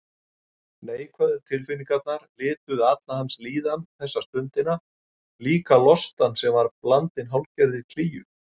Neikvæðu tilfinningarnar lituðu alla hans líðan þessa stundina, líka lostann sem var blandinn hálfgerðri klígju.